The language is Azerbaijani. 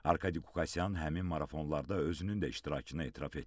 Arkadi Qukasyan həmin marafonlarda özünün də iştirakını etiraf etdi.